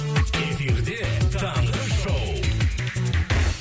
эфирде таңғы шоу